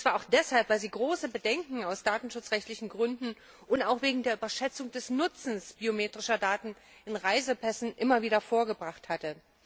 Und zwar auch deshalb, weil sie immer wieder große Bedenken aus datenschutzrechtlichen Gründen und auch wegen der Überschätzung des Nutzens biometrischer Daten in Reisepässen vorgebracht habe.